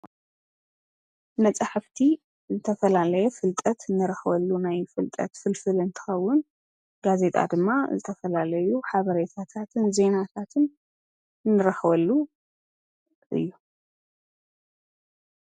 መፃሕፍቲ ዝተፈላለየ ፍልጠት እንረኽበሉ ናይ ፍልጠት ፍልፍል እንትኸውን ጋዜጣ ድማ ዝተፈላለዩ ሓበሬታታትን ዜናታትን ንረኽበሉ እዩ።